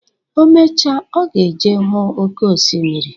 Omecha, ọ ga eje huu oké osimiri.